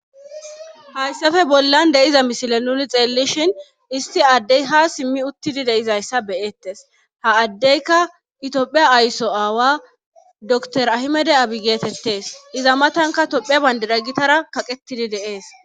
hayssafe bollan deiza misile nuni xeellishin isti addey ha simmi uttidi deizayssa beyettes ha addeyka itophiya aysso aawa dor ahimede abi geetettees iza matanka tophia bayndeda gitara kaqetidi deees